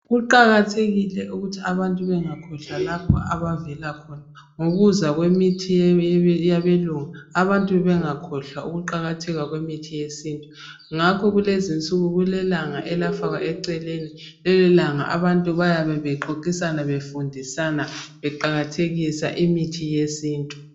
Kuqakathekile ukuthi abantu bengakhojlwa lapho abavela khona. Ngokuza kwemithi yabelungu, abantu bengakhohlwa ukuqakatheka kwemithi yesintu ngakho kulezinsuku kulelanga elafakwa eceleni, lelilanga bayabebexoxisana befundisana imithi yesintu.